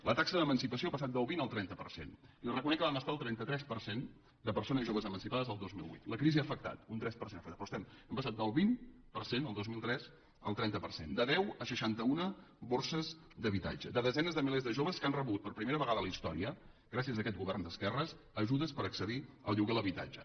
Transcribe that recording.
la taxa d’emancipació ha passat del vint al trenta per cent i li reconec que vam estar al trenta tres per cent de persones joves emancipades el dos mil vuit la crisi hi ha afectat un tres per cent ha afectat però hem passat del vint per cent el dos mil tres al trenta per cent de deu a seixanta una borses d’habitatge a desenes de milers de joves que han rebut per primera vegada a la història gràcies a aquest govern d’esquerres ajudes per accedir al lloguer de l’habitatge